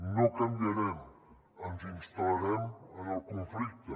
no canviarem ens instal·larem en el conflicte